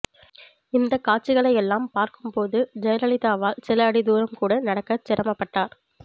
இந்தக் காட்சிகளை எல்லாம் பார்க்கும்போது ஜெயலலிதாவால் சில அடி தூரம்கூட நடக்கச் சிரமப்பட்டார்